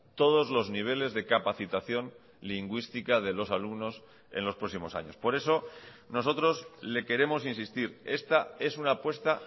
todos los niveles de capacitación lingüística de los alumnos en los próximos años por eso nosotros le queremos insistir esta es una apuesta